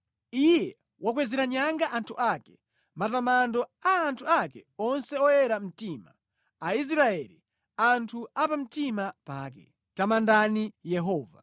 Iye wakwezera nyanga anthu ake, matamando a anthu ake onse oyera mtima, Aisraeli, anthu a pamtima pake. Tamandani Yehova.